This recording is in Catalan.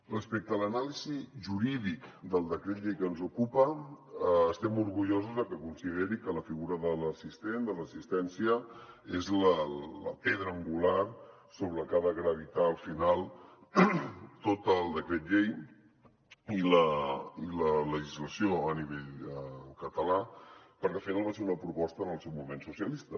respecte a l’anàlisi jurídica del decret llei que ens ocupa estem orgullosos de que consideri que la figura de l’assistent de l’assistència és la pedra angular sobre la que han de gravitar al final tot el decret llei i la legislació a nivell català perquè al final va ser una proposta en el seu moment socialista